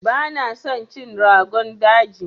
Bana son cin Rogon daji.